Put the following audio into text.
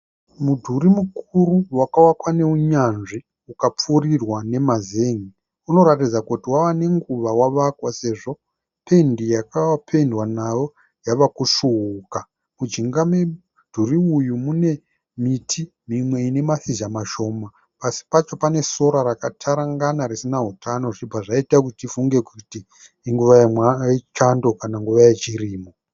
Mudhuri mukuru wakavakwa neunyanzvi ukapfuurirwa nemazen'e. Unoratidza kuti wave nenguva wavakwa sezvo pendi yawakapendwa nayo yavakusvuuka. Mujinga memudhuri uyu mune miti mimwe ine mashizha mashoma pasi pacho pane sora rakatarangana risina hutano zvichibva zvaita tifunge kuti inguva yechando kana nguva yechirimo.